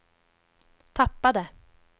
tappade